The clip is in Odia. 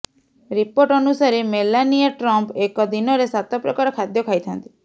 ଋିପୋର୍ଟ ଅନୁସାରେ ମେଲାନିଆ ଟ୍ରମ୍ପ ଏକ ଦିନରେ ସାତ ପ୍ରକାର ଖାଦ୍ୟ ଖାଇଥାନ୍ତି